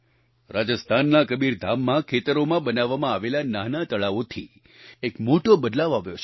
રાજસ્થાનના કબીરધામમાં ખેતરોમાં બનાવવામાં આવેલા નાનાં તળાવોથી એક મોટો બદલાવ આવ્યો છે